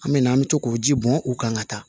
An me na an mi to k'o ji bɔn u kan ka taa